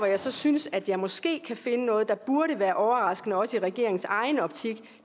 jeg så synes at jeg måske kan finde noget der burde være overraskende også i regeringens egen optik